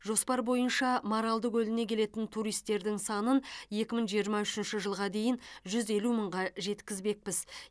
жоспар бойынша маралды көліне келетін туристтердің санын екі мың жиырма үшінші жылға дейін жүз елу мыңға жеткізбекпіз